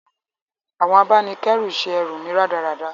Àwon abánikẹ́ru se erù mí rádaràda